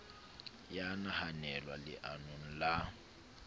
e ya nahanelwa leanong la